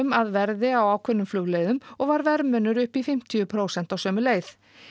að verði á ákveðnum flugleiðum og var verðmunur upp í fimmtíu prósent á sömu leið